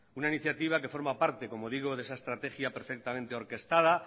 una iniciativa que forma parte como digo de esa estrategia perfectamente orquestada